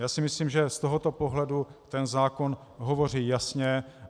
Já si myslím, že z tohoto pohledu ten zákon hovoří jasně.